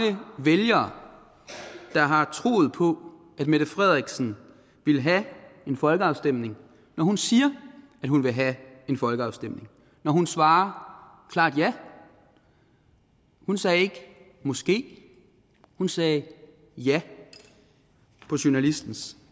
vælgere der har troet på at mette frederiksen ville have en folkeafstemning når hun siger at hun vil have en folkeafstemning når hun svarer klart ja hun sagde ikke måske hun sagde ja på journalistens